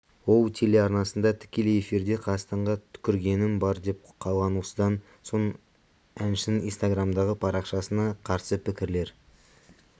ол телеарнасында тікелей эфирде қазақстанға түкіргенім бар деп қалған осыдан соң әншінің инстаграмдағы парақшасына қарсы пікірлер